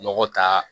Nɔgɔ ta